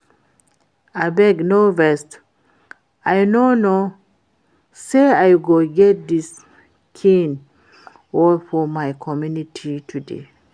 Abeg no vex, I no know say I go get dis kin work for my community today